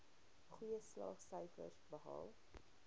goeie slaagsyfers behaal